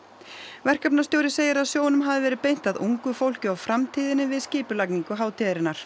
verkefnastjóri segir að sjónum hafi verið beint að ungu fólki og framtíðinni við skipulagningu hátíðarinnar